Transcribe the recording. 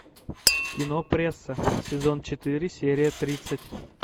кино пресса сезон четыре серия тридцать